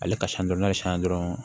Ale ka san dɔrɔn n'a ye san dɔrɔn